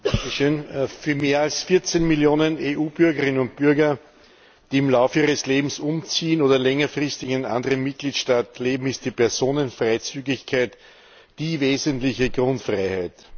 Frau Präsidentin! Für mehr als 14Millionen EU Bürgerinnen und Bürger, die im Laufe ihres Lebens umziehen oder längerfristig in anderen Mitgliedstaaten leben, ist die Personenfreizügigkeit die wesentliche Grundfreiheit.